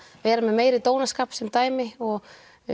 vera með meiri dónaskap sem dæmi og